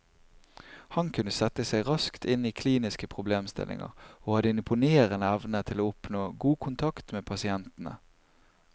Han kunne sette seg raskt inn i kliniske problemstillinger, og hadde en imponerende evne til å oppnå god kontakt med pasientene.